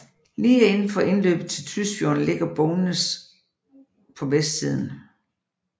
Lige indenfor indløbet til Tysfjorden ligger Bognes på vestsiden